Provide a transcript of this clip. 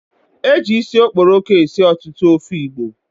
Eji isi okporoko esi ọtụtụ ofe Igbo